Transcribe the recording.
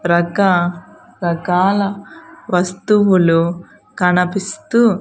రక రకాల వస్తువులు కనపిస్తూ.